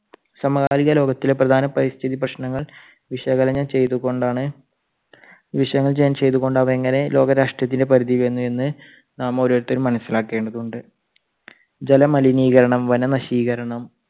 സമകാലിക ലോകത്തിലെ പ്രധാന പരിസ്ഥിതി പ്രശ്നങ്ങൾ വിശകലനം ചെയ്തുകൊണ്ടാണ് ചെയ്ത്കൊണ്ട് അത് എങ്ങനെ ലോക രാഷ്ട്രത്തിന്റെ പരിധിയിൽ വന്നു എന്ന് നാം ഓരോരുത്തരും മനസിലാക്കേണ്ടതുണ്ട്. ജല മലിനീകരണം, വന നശീകരണം